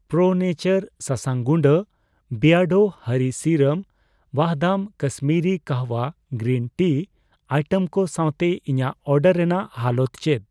ᱯᱨᱳ ᱱᱮᱪᱟᱨ ᱥᱟᱥᱟᱝ ᱜᱩᱰᱟᱹ, ᱵᱤᱭᱟᱰᱳ ᱦᱚᱨᱤ ᱥᱤᱨᱟᱢ, Vahdam Kashmiri kahwa green tea item ᱠᱚ ᱥᱟᱣᱛᱮ ᱤᱧᱟᱜ ᱚᱰᱟᱨ ᱨᱮᱱᱟᱜ ᱦᱟᱞᱚᱛ ᱪᱮᱫ ᱾